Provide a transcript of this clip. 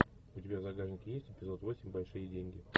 у тебя в загашнике есть эпизод восемь большие деньги